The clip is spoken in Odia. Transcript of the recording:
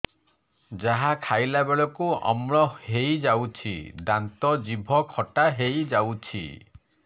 ଯାହା ଖାଇଲା ବେଳକୁ ଅମ୍ଳ ହେଇଯାଉଛି ଦାନ୍ତ ଜିଭ ଖଟା ହେଇଯାଉଛି